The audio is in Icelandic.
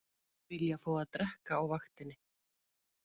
Vilja fá að drekka á vaktinni